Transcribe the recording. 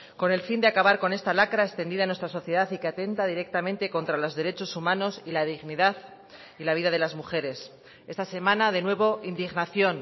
con el fin de acabar con esta lacra extendida en nuestra sociedad y que atenta directamente contra los derechos humanos y la dignidad y la vida de las mujeres esta semana de nuevo indignación